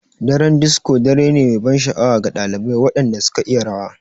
Daren disco dare ne mai ban sha'awa ga ɗalibai waɗanda suka iya rawa.